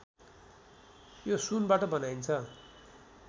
यो सुनबाट बनाइन्छ